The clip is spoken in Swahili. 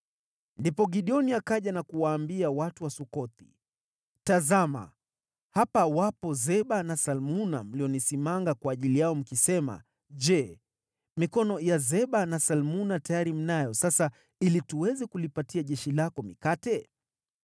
Ndipo Gideoni akaja na kuwaambia watu wa Sukothi, “Tazama, hapa wapo Zeba na Salmuna mlionisimanga kwa ajili yao mkisema, ‘Je, mikono ya Zeba na Salmuna tayari mnayo sasa ili tuweze kulipatia jeshi lako mikate?’ ”